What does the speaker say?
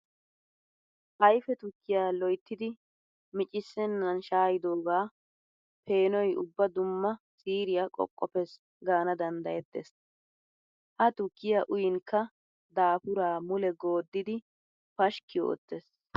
Ayfe tukkiya loyttiddi miccissenan shaa'idsooga peenoy ubba dumma siiriya qoqqoppes gaana danddayetees. Ha tukkiya uyinkka dafura mule goddiddi pashkki ootes.